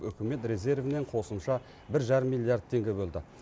үкімет резервінен қосымша бір жарым миллиард теңге бөлді